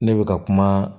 Ne bɛ ka kuma